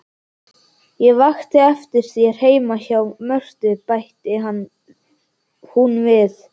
Ég vakti eftir þér heima hjá Mörtu, bætti hún við.